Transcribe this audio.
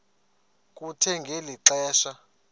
kuthe ngeli xesha